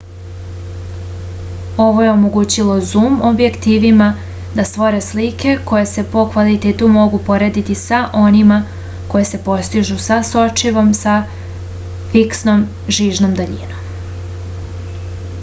ovo je omogućilo zum objektivima da stvore slike koje se po kvalitetu mogu porediti sa onima koje se postižu sa sočivom sa fiksnom žižnom daljinom